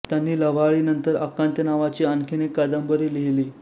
त्यांनी लव्हाळीनंतर आकांत नावाची आणखी एक कादंबरी लिहिली